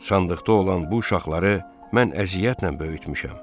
Sandıqda olan bu uşaqları mən əziyyətlə böyütmüşəm.